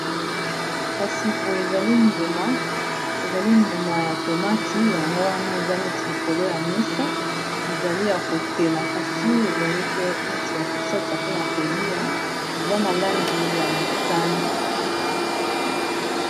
Kasi boye ezali mbuma, ezali mbuma ya tomati yango wana eza neti likolo ya mesa ezali ya kotela kasi ezali pe neti ya kosalisa mpona kolia eza na langi ya motane.